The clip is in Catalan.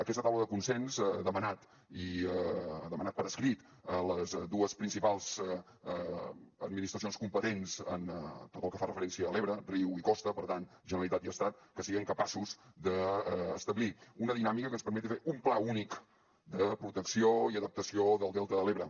aquesta taula de consens ha demanat i ha demanat per escrit a les dues principals administracions competents en tot el que fa referència a l’ebre riu i costa per tant generalitat i estat que siguem capaços d’establir una dinàmica que ens permeti fer un pla únic de protecció i adaptació del delta de l’ebre